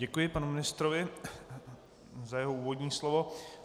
Děkuji panu ministrovi za jeho úvodní slovo.